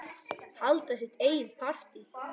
Halda sitt eigið partí.